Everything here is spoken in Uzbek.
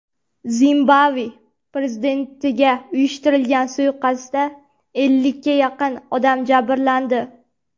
Zimbabve prezidentiga uyushtirilgan suiqasdda ellikka yaqin odam jabrlandi.